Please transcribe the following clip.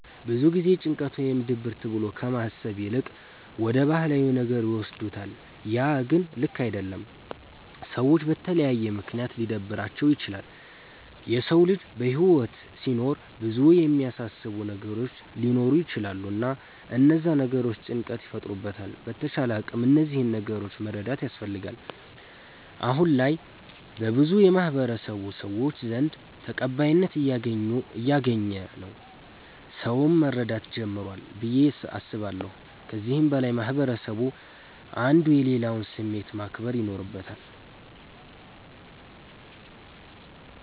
ብዙ ጊዜ ጭንቀት ወይም ድብርት ብሎ ከማሰብ ይልቅ ወደ ባህላዊ ነገር ይወስዱታለ ያ ግን ልክ አደለም። ሰዎች በተለያየ ምክንያት ሊደብራቸዉ ይችላል። የሰዉ ልጅ በህይወት ሲኖር ብዙ የሚያሳስቡት ነገሮች ሊኖሩ ይቸላሉ እና እነዛ ነገሮች ጭንቀት ይፈጥሩበታል በተቻለ አቅም እነዚህን ነገሮች መረዳት ያስፈልጋል። አሁነ ላይ በብዙ የማህበረሰቡ ሰዎች ዘንድ ተቀባይነት እያገኝ ነዉ ሰዉም መረዳት ጀምሯል ብዬ አስባለሁ። ከዚህም በላይ ማህበረስቡ አንዱ የሌላዉን ስሜት ማክበር ይኖርበታል።